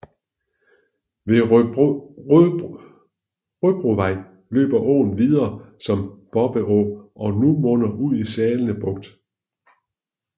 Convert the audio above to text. Ved Røbrovej løber åen videre som Bobbeå og munder ud i Salene Bugt